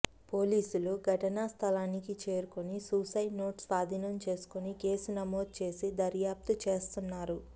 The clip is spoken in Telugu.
పోలీసులు ఘటనా స్థలానికి చేరుకొని సూసైడ్ నోట్ స్వాధీనం చేసుకొని కేసు నమోదు చేసి దర్యాప్తు చేస్తున్నారు